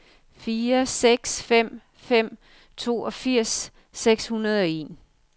fire seks fem fem toogfirs seks hundrede og en